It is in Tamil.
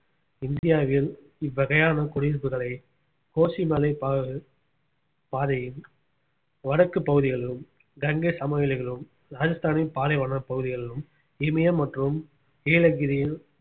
இந்தியாவில் இவ்வகையான குடியிருப்புகளை கோசிமலை பா~ பாதையின் வடக்கு பகுதிகளிலும் கங்கை சமவெளிகளிலும் ராஜஸ்தானின் பாலைவன பகுதிகளிலும் இமயம் மற்றும் நீலகிரியில்